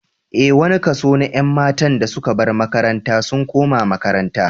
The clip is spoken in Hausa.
Ee, wani kaso na ƴan matan da suka bar makaranta sun koma makaranta